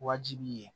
Wajibi ye